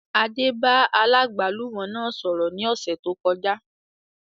Adé bá aláàgbálùmọ́ náà sọ̀rọ̀ ní ọ̀sẹ̀ tó kọjá